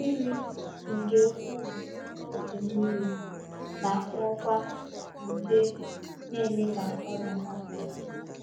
“Mmiri nke ukwuu n’oge mmiri na-akpọkwa nje na-eme ka ọrịa gbasaa.